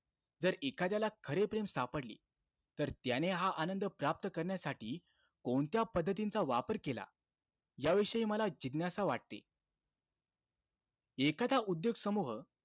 जर एखाद्याला खरे प्रेम सापडले, तर त्याने हा आनंद प्राप्त करण्यासाठी, कोणत्या पद्धतींचा वापर केला? याविषयी मला जिज्ञासा वाटते. एखादा उद्योग समूह,